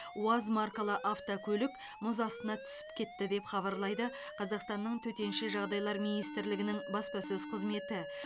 уаз маркалы автокөлік мұз астына түсіп кетті деп хабарлайды қазақстанның төтенше жағдайлар министрлігінің баспасөз қызметі